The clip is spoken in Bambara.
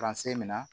min na